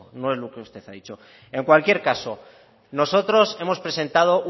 no es lo que usted ha dicho en cualquier caso nosotros hemos presentado